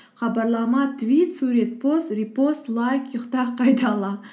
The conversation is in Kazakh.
хабарлама твит сурет пост репост лайк ұйықта қайтала